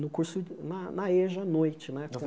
No curso na na eja a noite né